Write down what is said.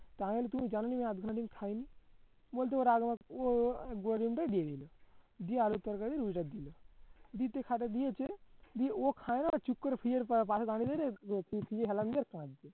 তার মানে তুমি জানো নি এই আধখানা ডিম খাই বলতে গোটা ডিমটা দিয়ে দিলো দিয়ে আলুর তরকারি দিল দিতে খাটে দিয়েছে দিয়ে ও খায় না ঠিক করে হেলান দিয়ে কাঁদছে